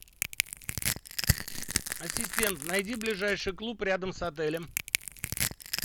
ассистент найди ближайший клуб рядом с отелем